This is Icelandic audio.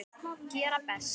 Gera best.